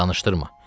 Danışdırma.